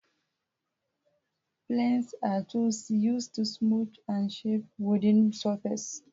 Planes are tools used to smooth and shape wooden surfaces.